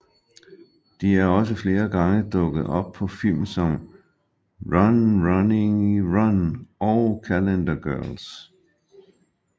De er også flere gange dukket op på film som Run Ronnie Run og Calendar Girls